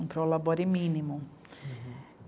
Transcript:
Um prolabore mínimo.